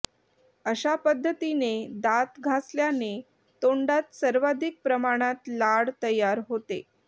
अशा पद्धतीने दात घासल्याने तोंडात सर्वाधिक प्रमाणात लाळ तयार होते